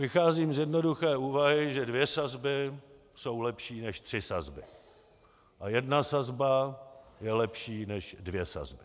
Vycházím z jednoduché úvahy, že dvě sazby jsou lepší než tři sazby a jedna sazba je lepší než dvě sazby.